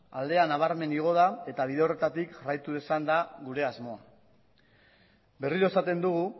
aldea nabarmen igo da eta bide horretatik jarraitu izan da gure asmo berriro esaten dugu